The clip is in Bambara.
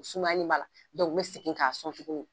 U sumalen b'a n bɛ segin k'a sɔn tuguni.